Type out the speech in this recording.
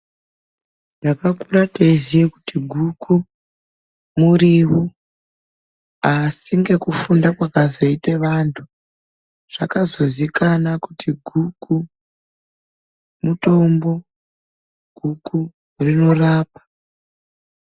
Takakura teiziya kuti guku muriwo, asi ngekufunda kwakazoita vanthu zvakazozikana kuti guku mutombo, guku rinorapa.